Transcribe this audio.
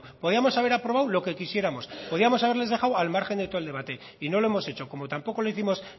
podíamos haber aprobado lo que quisiéramos podíamos haberle dejado al margen de todo el debate y no lo hemos hecho como tampoco lo hicimos